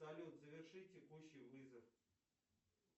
салют заверши текущий вызов